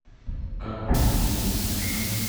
как пройти на ресепшен